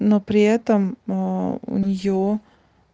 но при этом у неё